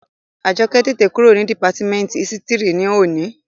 Àjọkẹ́ tètè kúrò ní dìpátímẹ́ǹtì ísítìrì ní òní